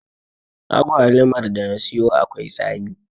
Agwaluman da na siyo akwai tsami.